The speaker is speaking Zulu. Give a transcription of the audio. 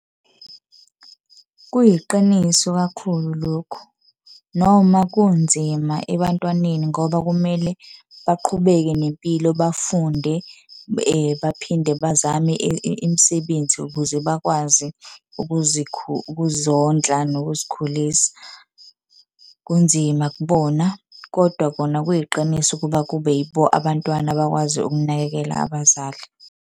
Kuyiqiniso kakhulu lokhu, noma kunzima ebantwaneni ngoba kumele baqhubeke nempilo bafunde , baphinde bazame imisebenzi ukuze bakwazi ukuzondla nokuzikhulisa. Kunzima kubona, kodwa kona kuyiqiniso ukuba kube yibo abantwana abakwazi ukunakekela abazali.